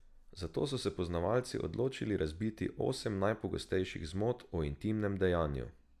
Zato so se poznavalci odločili razbiti osem najpogostejših zmot o intimnem dejanju.